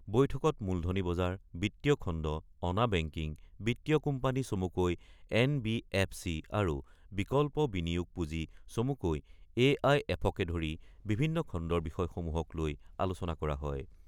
বৈঠকত মূলধনী বজাৰ বিত্তীয় খণ্ড, অনা বেংকিং, বিত্তীয় কোম্পানী চমুকৈ এন বি এফ চি আৰু বিকল্প বিনিয়োগ পূজি চমুকৈ এ আই এফকে ধৰি বিভিন্ন খণ্ডৰ বিষয়সমূহক লৈ আলোচনা কৰা হয়।